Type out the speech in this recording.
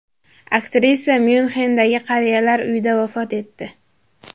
Aktrisa Myunxendagi qariyalar uyida vafot etdi.